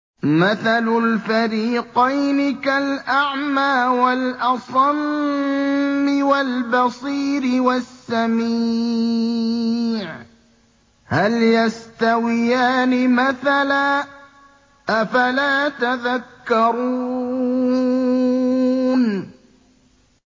۞ مَثَلُ الْفَرِيقَيْنِ كَالْأَعْمَىٰ وَالْأَصَمِّ وَالْبَصِيرِ وَالسَّمِيعِ ۚ هَلْ يَسْتَوِيَانِ مَثَلًا ۚ أَفَلَا تَذَكَّرُونَ